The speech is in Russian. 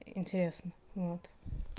интересно вот